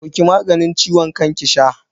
Dauki maganin ciwon kan ki sha.